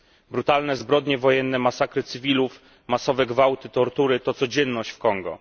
Brutalne zbrodnie wojenne, masakry cywilów, masowe gwałty, tortury to codzienność w Kongu.